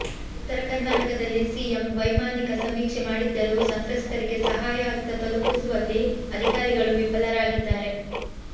ಉತ್ತರ ಕರ್ನಾಟಕದಲ್ಲಿ ಸಿಎಂ ವೈಮಾನಿಕ ಸಮೀಕ್ಷೆ ಮಾಡಿದ್ದರೂ ಸಂತ್ರಸ್ಥರಿಗೆ ಸಹಾಯಹಸ್ತ ತಲುಪಿಸುವಲ್ಲಿ ಅಧಿಕಾರಿಗಳು ವಿಫಲರಾಗಿದ್ದಾರೆ